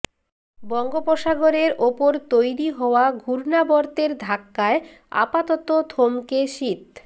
বঙ্গোপসাগরের ওপর তৈরি হওয়া ঘূর্ণাবর্তের ধাক্কায় আপাতত থমকে শীত